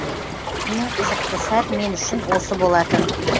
ең қызықты сәт мен үшін осы болатын